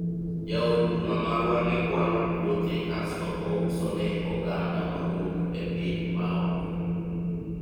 jaod bura marwa ne kwalo puothe kasto ouso ne oganda mawuok e piny ma oko